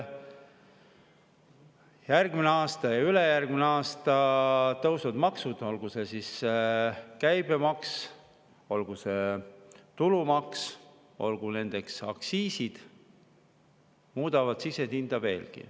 Järgmisel ja ülejärgmisel aastal tõusevad maksud, olgu see siis käibemaks, olgu see tulumaks, olgu need aktsiisid, mis muudavad sisendhinda veelgi.